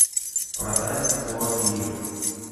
продать сорок лир